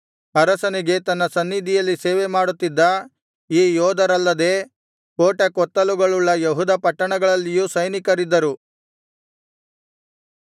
ಅರಸನಿಗೆ ತನ್ನ ಸನ್ನಿಧಿಯಲ್ಲಿ ಸೇವೆ ಮಾಡುತ್ತಿದ್ದ ಈ ಯೋಧರಲ್ಲದೆ ಕೋಟೆ ಕೊತ್ತಲಗಳುಳ್ಳ ಯೆಹೂದ ಪಟ್ಟಣಗಳಲ್ಲಿಯೂ ಸೈನಿಕರಿದ್ದರು